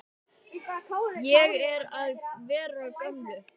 Ég er að verða gömul.